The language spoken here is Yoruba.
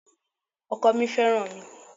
Ọkọ mi fẹ́ràn mi.